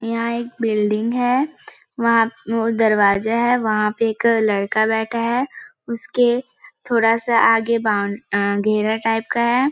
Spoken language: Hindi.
यहाँ एक बिल्डिंग है वहाँ पे एक दरवाजा है वहाँ पे एक लड़का बैठा है उसके थोड़ा सा आगे बॉउन्ड आ घेरा टाइप का हैं ।